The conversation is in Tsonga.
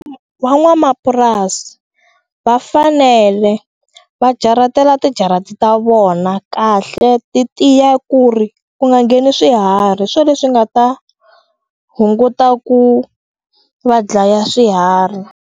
Van'wamapurasi va fanele va jaratela tijarati ta vona kahle ti tiya ku ri ku nga ngheni swiharhi swo leswi nga ta hunguta ku va dlaya swiharhi.